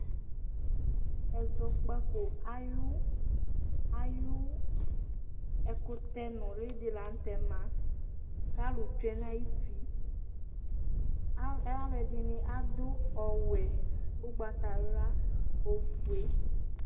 Ɛzɔkpako ayʋ ayʋ ɛkʋtɛ nʋlɩ dɩ la nʋ tɛ ma kʋ alʋ tsue nʋ ayuti Ɛ alʋɛdɩnɩ adʋ ɔwɛ, ʋgbatawla, ofue